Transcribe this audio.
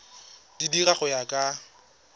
di dira go ya ka